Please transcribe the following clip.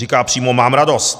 Říká přímo: mám radost.